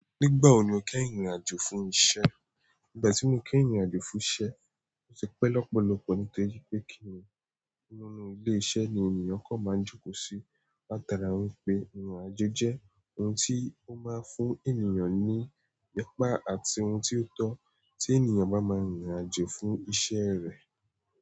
Nígbàwo ni o kẹ́ ìrìnàjò fún iṣẹ́? Nígbàtí mo kẹ́ ìrìnàjò fún iṣẹ́, o ti pẹ́ lọ́pọ̀lọ́pọ̀ nítorí pé kìíní nínú ilé iṣẹ́ ni ènìyàn kan máa ń jókòó sí. Ó dára wípé ìrìnàjò jẹ́ oun tí ó máa ń fún ènìyàn ní ipá àti oun tí ó tọ́ tí ènìyàn bá máa ń rìnàjò fún iṣẹ́ rẹ.